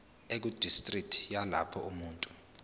ekudistriki yalapho umuntu